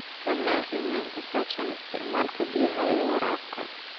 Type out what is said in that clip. Samee qiimeyn ku saabsan isticmaalka biyaha ee waraabka.